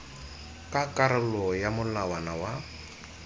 ka karolo ya molawana wa